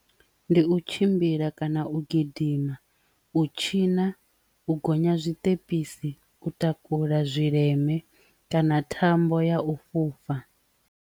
Ndi u tshimbila kana u gidima, u tshina, u gonya zwiṱepesi, u takula zwileme kana thambo ya u fhufha.